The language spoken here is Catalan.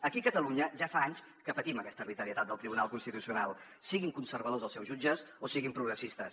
aquí a catalunya ja fa anys que patim aquesta arbitrarietat del tribunal constitucional siguin conservadors els seus jutges o siguin progressistes